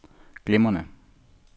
glimrende